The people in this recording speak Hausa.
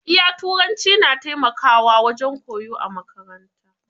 Iya Turanci na taimakawa wajen koyo a makaranta.